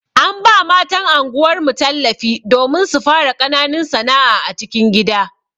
An ba matan anguwar mu tallafi domin su fara ƙananun sana'a a cikin gida.